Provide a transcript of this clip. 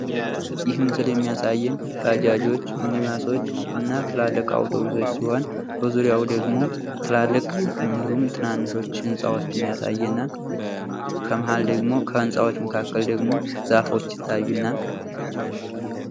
ይህ ምስል የሚያሳየን ባጃጆች ፣ ሚኒባሶች እና ትላልቅ አውቶቢሶች ሲሆን በዙሪያው ደግሞ ትላልቅ እንዲሁም ትናንሽ ህንጻዎችን ያሳየናል። ከመሃል ደግሞ ከህንጻዎች መካከል ደሞ ዛፎች ይታዩናል።